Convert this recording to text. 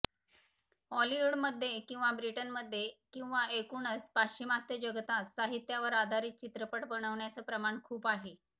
हॉलिवुडमध्ये किंवा ब्रिटनमध्ये किंवा एकूणच पाश्चिमात्य जगतात साहित्यावर आधारित चित्रपट बनण्याचं प्रमाण खूप आहे